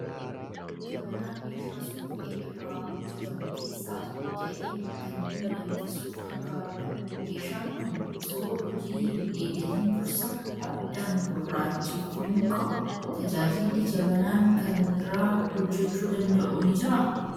Jabanaan meeshaa suphee irraa hojjetamu keessaa tokko ta'ee, kan buna danfisuuf gargaarudha. Meeshaan kun osoo hojii hin eegaliin dursa abiddaan gurraacheffamuu qaba. Tajaajilli jabanaan kan biraa hojjechuu danda'u ni jiraa?